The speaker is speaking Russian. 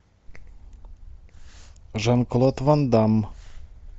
жан клод ван дамм